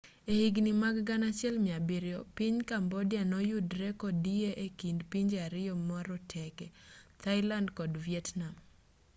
e higni mag 1700 piny cambodia noyudre kodiye ekind pinje ariyo maroteke thailand kod vietnam